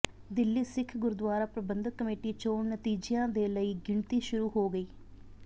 Delhi Sikh Gurdwara Prabandhak committee ਚੋਣ ਨਤੀਜਿਆਂ ਦੇ ਲਈ ਗਿਣਤੀ ਸ਼ੁਰੂ ਹੋ ਗਈ